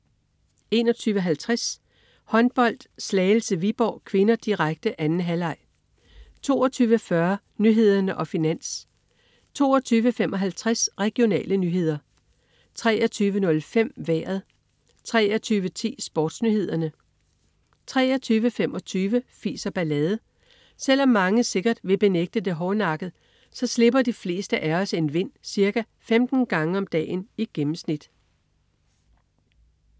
21.50 Håndbold: Slagelse-Viborg (k), direkte. 2. halvleg 22.40 Nyhederne og Finans 22.55 Regionale nyheder 23.05 Vejret 23.10 SportsNyhederne 23.25 Fis og ballade. Selv om mange sikkert vil benægte det hårdnakket, så slipper de fleste af os en vind ca. 15 gange om dagen i gennemsnit